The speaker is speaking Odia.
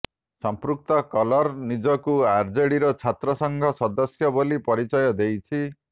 ସମ୍ପୃକ୍ତ କଲର ନିଜକୁ ଆରଜେଡିର ଛାତ୍ର ସଂଘ ସଦସ୍ୟ ବୋଲି ପରିଚୟ ଦେଇଛି